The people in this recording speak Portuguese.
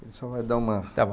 Ele só vai dar uma...stá bom.